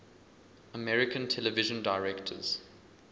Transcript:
american television directors